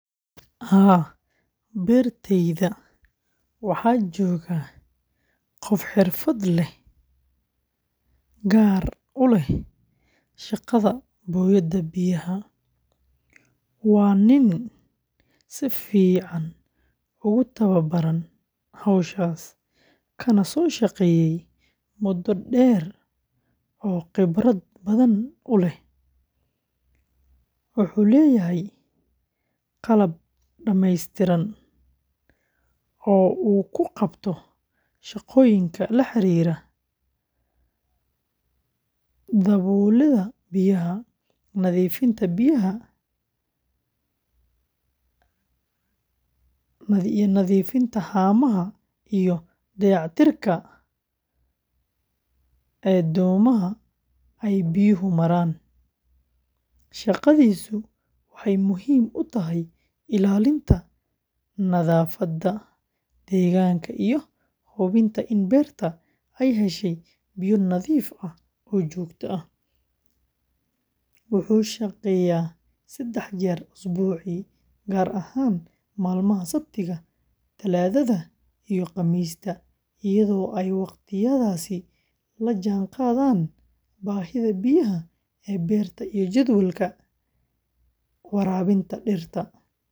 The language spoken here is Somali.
Haa, beertayda waxaa jooga qof xirfad gaar ah u leh shaqada booyadda biyaha, waana nin si fiican ugu tababaran hawshaas, kana soo shaqeeyey muddo dheer oo khibrad badan u leh. Wuxuu leeyahay qalab dhammeystiran oo uu ku qabto shaqooyinka la xiriira daabulidda biyaha, nadiifinta haamaha, iyo dayactirka dhuumaha ay biyuhu maraan. Shaqadiisu waxay muhiim u tahay ilaalinta nadaafadda deegaanka iyo hubinta in beerta ay heshay biyo nadiif ah oo joogto ah. Wuxuu shaqeeyaa saddex jeer usbuucii, gaar ahaan maalmaha Sabtida, Talaadada, iyo Khamiista, iyadoo ay waqtiyadaasi la jaanqaadaan baahida biyaha ee beerta iyo jadwalka waraabinta dhirta.